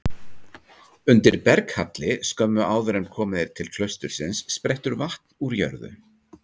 Undir berghalli skömmu áður en komið er til klaustursins sprettur vatn úr jörðu.